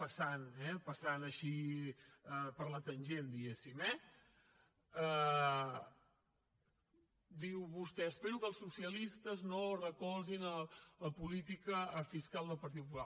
passant així per la tangent diguéssim eh diu vostè espero que els socialistes no recolzin la política fiscal del partit popular